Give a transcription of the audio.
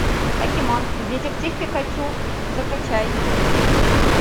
покемон детектив пикачу закачай